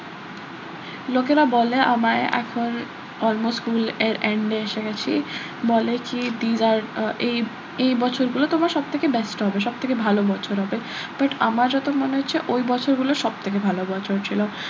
লোকেরা বলে আমায় এখন almost school এর end এ এসে গেছি বলে কি এই এই বছরগুলো তোমার সব থেকে best হবে সব থেকে ভালো বছর হবে but আমার যত মনে হচ্ছে ওই বছরগুলো সব থেকে ভালো বছর ছিল